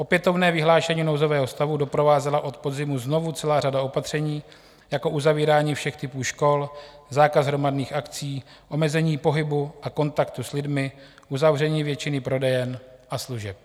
Opětovné vyhlášení nouzového stavu doprovázela od podzimu znovu celá řada opatření, jako uzavírání všech typů škol, zákaz hromadných akcí, omezení pohybu a kontaktu s lidmi, uzavření většiny prodejen a služeb.